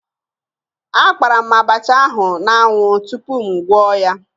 Akpara m abacha ahụ n'anwụ tupu m gwọọ ya